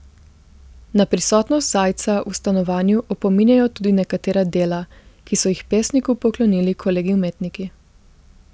Na prisotnost Zajca v stanovanju opominjajo tudi nekatera dela, ki so jih pesniku poklonili kolegi umetniki.